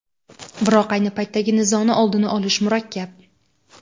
Biroq ayni paytdagi nizoni oldini olish murakkab.